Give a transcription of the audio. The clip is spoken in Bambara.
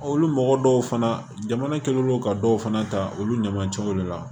Olu mɔgɔ dɔw fana jamana kɛlen don ka dɔw fana ta olu ɲamacɛw de la